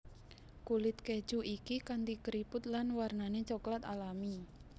Kulit keju iki kanti keriput lan warnané coklat alami